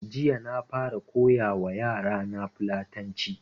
Jiya na fara koya wa yara na fulatanci